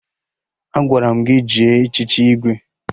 Agwara m gị jee echichi Igwe!